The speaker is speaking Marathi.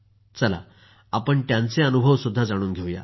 चला त्यांचे अनुभवही जाणून घेऊया